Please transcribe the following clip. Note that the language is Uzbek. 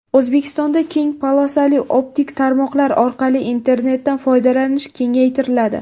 O‘zbekistonda keng polosali optik tarmoqlar orqali internetdan foydalanish kengaytiriladi.